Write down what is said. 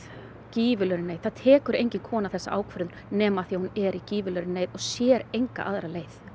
gífurlegri neyð það tekur engin kona þessa ákvörðun nema af því að hún er í gífurlegri neyð og sér enga aðra leið